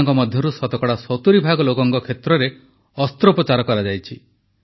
ଏମାନଙ୍କ ମଧ୍ୟରୁ ଶତକଡ଼ା 70 ଭାଗ ଲୋକଙ୍କ କ୍ଷେତ୍ରରେ ଅସ୍ତ୍ରୋପଚାର କରାଯାଇଛି